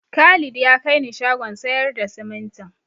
Khalid ya kai ni shagon sayar da simintin.